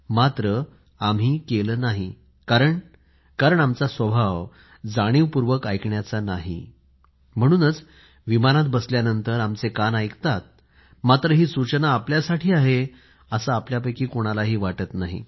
मात्र आम्ही केले नाही कारण आमचा स्वभाव जाणीवपूर्वक ऐकण्याचा नाही म्हणूनच विमानात बसल्यानंतर आमचे कान ऐकतात मात्र ही सूचना आपल्यासाठी आहे असं आपल्या पैकी कोणाला वाटत नाही